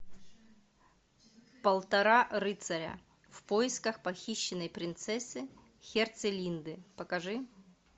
полтора рыцаря в поисках похищенной принцессы херцелинды покажи